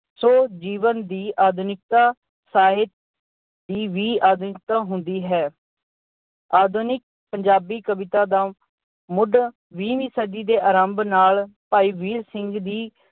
ਸੋ ਜੀਵਨ ਦੀ ਆਧੁਨਿਕਤਾ ਸਾਹਿਤ ਦੀ ਵੀ ਆਧੁਨਿਕਤਾ ਹੁੰਦੀ ਹੈ। ਆਧੁਨਿਕ ਪੰਜਾਬੀ ਕਵਿਤਾ ਦਾ ਮੁੱਢ ਵੀਹਵੀਂ ਸਦੀ ਦੇ ਆਰੰਭ ਨਾਲ ਭਾਈ ਵੀਰ ਸਿੰਘ ਦੀ